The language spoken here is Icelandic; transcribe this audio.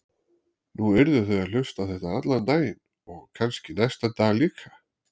Nú yrðu þau að hlusta á þetta allan daginn og kannski næsta dag líka.